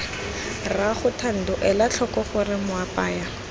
rraago thando elatlhoko gore moapaya